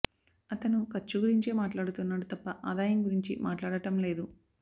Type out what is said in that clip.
అతను ఖర్చు గురించే మాట్లాడుతున్నాడు తప్ప ఆదాయం గురించి మాట్లాడటం లేదు